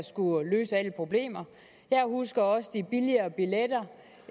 skulle løse alle problemer jeg husker også de billigere billetter